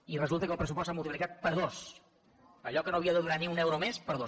i resulta que el pressupost s’ha multiplicat per dos allò que no havia de donar ni un euro més per dos